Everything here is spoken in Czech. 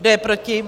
Kdo je proti?